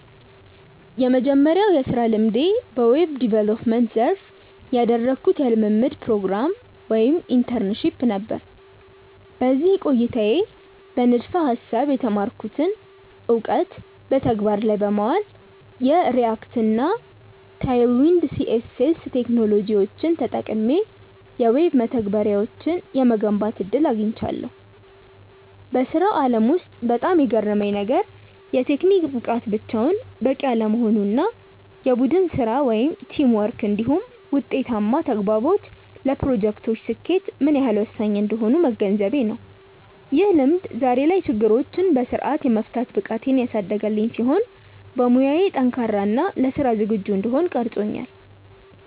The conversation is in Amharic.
የመጀመሪያው የሥራ ልምዴ በዌብ ዲቨሎፕመንት (Web Development) ዘርፍ ያደረግኩት የልምምድ ፕሮግራም (Internship) ነበር። በዚህ ቆይታዬ በንድፈ-ሐሳብ የተማርኩትን እውቀት በተግባር ላይ በማዋል፣ የReact እና Tailwind CSS ቴክኖሎጂዎችን ተጠቅሜ የዌብ መተግበሪያዎችን የመገንባት ዕድል አግኝቻለሁ። በሥራው ዓለም ውስጥ በጣም የገረመኝ ነገር፣ የቴክኒክ ብቃት ብቻውን በቂ አለመሆኑ እና የቡድን ሥራ (Teamwork) እንዲሁም ውጤታማ ተግባቦት ለፕሮጀክቶች ስኬት ምን ያህል ወሳኝ እንደሆኑ መገንዘቤ ነው። ይህ ልምድ ዛሬ ላይ ችግሮችን በሥርዓት የመፍታት ብቃቴን ያሳደገልኝ ሲሆን፣ በሙያዬ ጠንካራ እና ለሥራ ዝግጁ እንድሆን ቀርጾኛል።